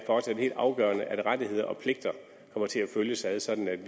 for os er helt afgørende at rettigheder og pligter kommer til at følges ad sådan at vi